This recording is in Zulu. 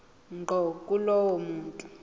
ngqo kulowo muntu